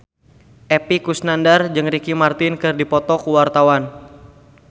Epy Kusnandar jeung Ricky Martin keur dipoto ku wartawan